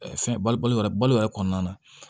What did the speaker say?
fɛn balo yɛrɛ balo yɛrɛ kɔnɔna na